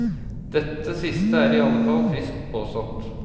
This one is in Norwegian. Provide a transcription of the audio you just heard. Dette siste er i alle fall friskt påstått.